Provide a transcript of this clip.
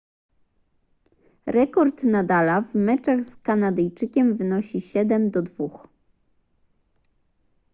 rekord nadala w meczach z kanadyjczykiem wynosi 7:2